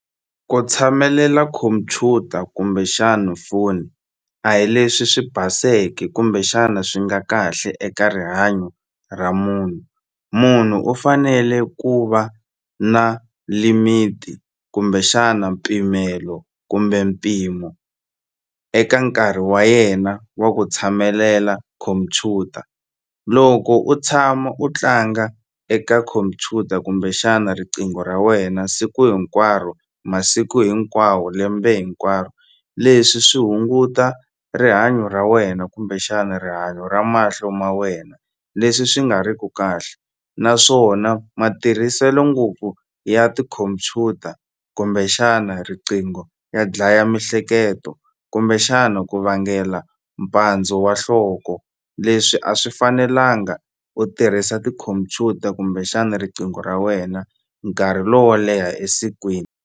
Ku tshamelela computer kumbexani foni a hi leswi swi baseke kumbexana swi nga kahle eka rihanyo ra munhu. Munhu u fanele ku va na limit kumbexana mpimelo kumbe mpimo eka nkarhi wa yena wa ku tshamelela khompyuta loko u tshama u tlanga eka khompyuta kumbexana riqingho ra wena siku hinkwaro masiku hinkwawo lembe hinkwaro leswi swi hunguta rihanyo ra wena kumbexani rihanyo ra mahlo ma wena leswi swi nga ri ku kahle naswona matirhiselo ngopfu ya tikhompyuta kumbexana riqingho ya dlaya mihleketo kumbexana ku vangela mpandzo wa nhloko leswi a swi fanelanga u tirhisa tikhompyuta kumbexana riqingho ra wena nkarhi lowo leha esikwini.